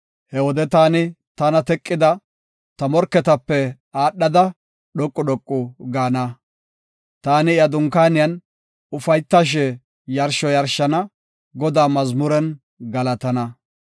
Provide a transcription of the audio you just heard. He wode taani tana teqida ta morketape aadhada, dhoqu dhoqu gaana. Taani iya dunkaaniyan ufaytashe yarsho yarshana; Godaa mazmuren galatana.